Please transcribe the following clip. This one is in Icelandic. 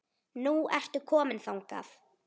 Nú ertu komin þangað.